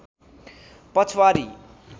पछ्वारी